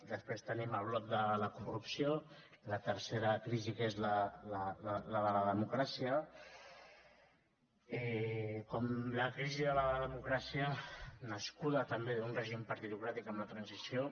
després tenim el bloc de la corrupció la tercera crisi que és la de la democràcia la crisi de la democràcia nascuda també d’un règim partitocràtic amb la transició